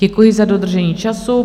Děkuji za dodržení času.